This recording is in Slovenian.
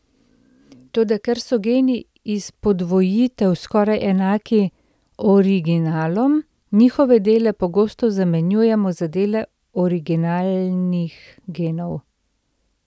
Toda ker so geni iz podvojitev skoraj enaki originalom, njihove dele pogosto zamenjujemo za dele originalnih genov.